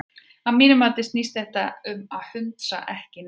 Að mínu mati snýst þetta um hundsa ekki neitt.